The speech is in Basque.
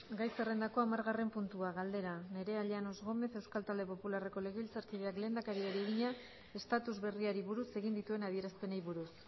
gai zerrendako hamargarren puntua galdera nerea llanos gómez euskal talde popularreko legebiltzarkideak lehendakariari egina estatus berriari buruz egin dituen adierazpenei buruz